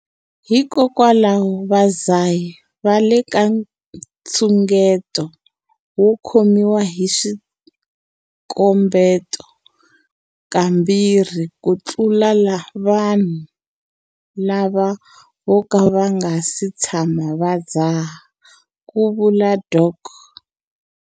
Hikokwalaho, vadzahi va le ka nxungeto wo khomiwa hi swikombeto kambirhi ku tlula vanhu lava vo ka va nga si tshama va dzaha, ku vula Dok.